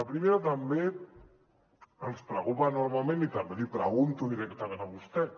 la primera també ens preocupa enormement i també l’hi pregunto directament a vostè